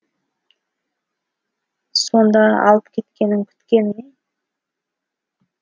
сонда алып кеткенін күткені ме